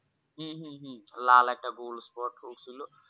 হম হম হম লাল একটা গোল Spot হয়েছিল